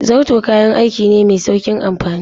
Zarto kayan aiki ne mai sauƙin amfani.